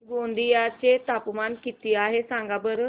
गोंदिया चे तापमान किती आहे सांगा बरं